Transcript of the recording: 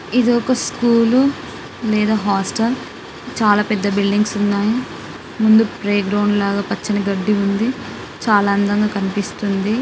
ఇది ఒక స్కూల్ నేను హాస్టల్ చాలా పెద్ద బిల్డింగ్స్ ఉన్నాయి ముందు ప్లే గ్రౌండ్ లాగా పచ్చని గడ్డి ఉందచాలా అందంగా కనిపిస్తుంది.